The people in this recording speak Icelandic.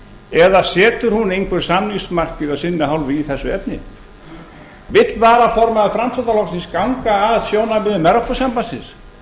eða setur hún einhver samningsmarkmið af sinni hálfu í þessu efni vill varaformaður framsóknarflokksins ganga að sjónarmiðum evrópusambandsins